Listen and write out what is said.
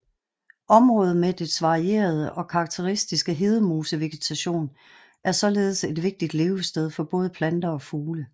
Området med dets varierede og karakteristiske hedemosevegetation er således et vigtigt levested for både planter og fugle